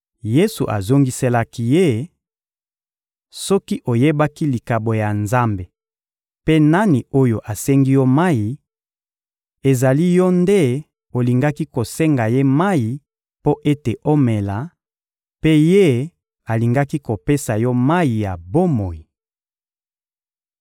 Yesu azongiselaki ye: — Soki oyebaki likabo ya Nzambe mpe nani oyo asengi yo mayi, ezali yo nde olingaki kosenga Ye mayi mpo ete omela, mpe Ye alingaki kopesa yo mayi ya bomoi.